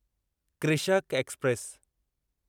Krishak express